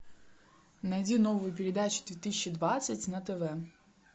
найди новую передачу две тысячи двадцать на тв